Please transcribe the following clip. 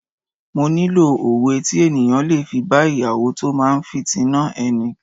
Mo nílò òwe tí ènìyàn le fi bá Ìyàwó tó máa fìtínà ẹni.